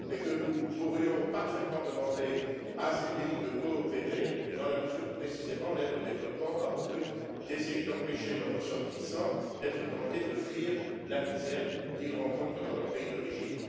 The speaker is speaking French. Nous pourrions parfaitement demander à ces pays de coopérer dans la mesure où, précisément, l'aide au développement a pour but d'essayer d'empêcher leurs ressortissants d'être tentés de fuir la misère qu'ils rencontrent dans leur pays d'origine.